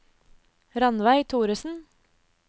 Rannveig Thoresen